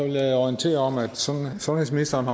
jeg orientere om at sundhedsministeren